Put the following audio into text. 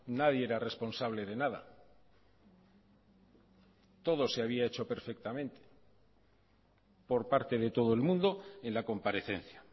nadie era responsable de nada todo se había hecho perfectamente por parte de todo el mundo en la comparecencia